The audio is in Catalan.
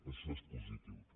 això és positiu també